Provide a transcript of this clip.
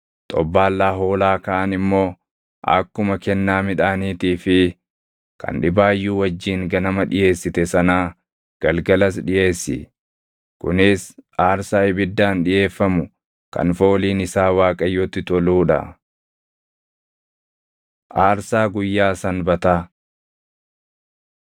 Xobbaallaa hoolaa kaan immoo akkuma kennaa midhaaniitii fi kan dhibaayyuu wajjin ganama dhiʼeessite sanaa galgalas dhiʼeessi. Kunis aarsaa ibiddaan dhiʼeeffamu kan fooliin isaa Waaqayyotti toluu dha. Aarsaa Guyyaa Sanbataa